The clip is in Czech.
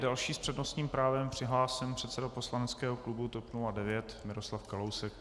Další s přednostním právem přihlášen předseda poslaneckého klubu TOP 09 Miroslav Kalousek.